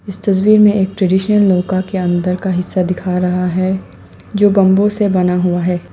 इस तस्वीर में एक ट्रेडिशनल नौका के अंदर का हिस्सा दिख रहा है जो बंबू से बना हुआ है।